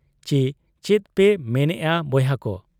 ᱪᱤ ᱪᱮᱫᱯᱮ ᱢᱱᱮᱜ ᱟ ᱵᱚᱭᱦᱟ ᱠᱚ ?